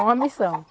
É uma missão.